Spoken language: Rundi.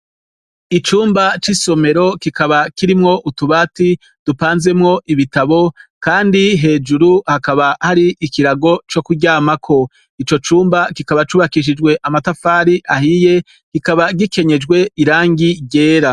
Icumba c'isomero, kikaba kirimwo utubati dupanzemwo ibitabo, kandi hejuru hakaba hari ikirago co kuryamako. Ico cumba kikaba cubakishijwe amatafari ahiye, kikaba gikenyejwe irangi ryera.